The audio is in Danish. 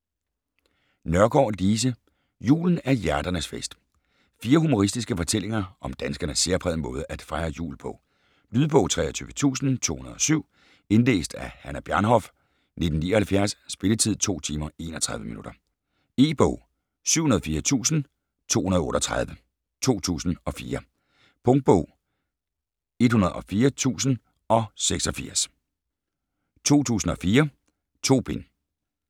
Nørgaard, Lise: Julen er hjerternes fest Fire humoristiske fortællinger om danskernes særprægede måde at fejre jul på. Lydbog 23207 Indlæst af Hannah Bjarnhof, 1979. Spilletid: 2 timer, 31 minutter. E-bog 704238 2004. Punktbog 104086 2004. 2 bind.